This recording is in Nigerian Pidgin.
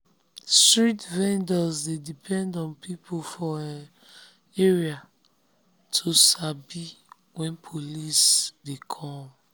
street vendors dey depend on people for um area to to sabi when police dey come.